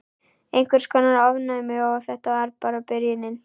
Einhvers konar ofnæmi. Og þetta var bara byrjunin.